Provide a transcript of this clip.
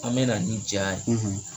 An bɛna ni ja ye